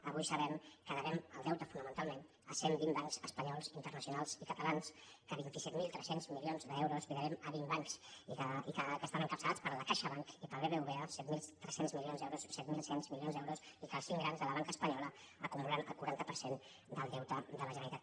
avui sabem que devem el deute fonamentalment a cent vint bancs es·panyols internacionals i catalans que vint set mil tres cents milions d’euros els devem a vint bancs que estan encapça·lats per caixabank i pel bbva set mil tres cents milions d’eu·ros i set mil cent milions d’euros i que els cinc grans de la banca espanyola acumulen el quaranta per cent del deute de la generalitat